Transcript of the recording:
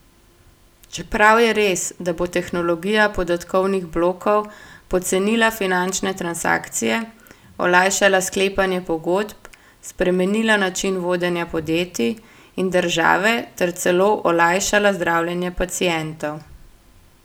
Čeprav je res, da bo tehnologija podatkovnih blokov pocenila finančne transakcije, olajšala sklepanje pogodb, spremenila način vodenja podjetij in države ter celo olajšala zdravljenje pacientov.